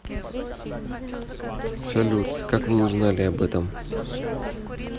салют как вы узнали об этом